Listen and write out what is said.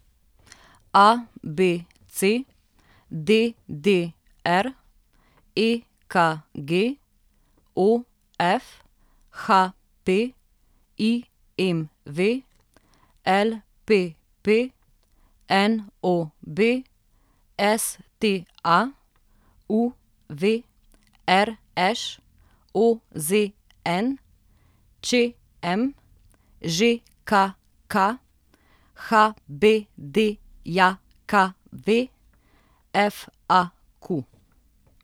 ABC, DDR, EKG, OF, HP, IMV, LPP, NOB, STA, UV, RŠ, OZN, ČM, ŽKK, HBDJKV, FAQ.